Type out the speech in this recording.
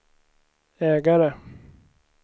ägare